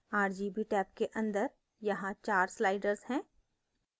rgb rgb के अंदर यहाँ 4 sliders हैं